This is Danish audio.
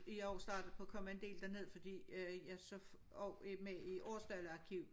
I år startede jeg på at komme en del derned fordi øh jeg så også med i Aarsdale arkiv